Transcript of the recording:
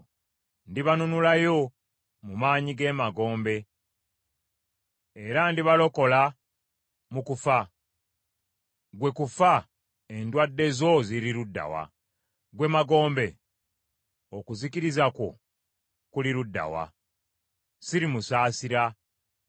“Ndibanunulayo mu maanyi g’emagombe, era ndibalokola mu kufa. Ggwe kufa, endwadde zo ziri ludda wa? Ggwe Magombe, okuzikiriza kwo kuli ludda wa? “Sirimusaasira,